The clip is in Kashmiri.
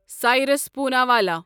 سایرس پوناوالا